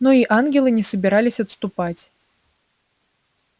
но и ангелы не собирались отступать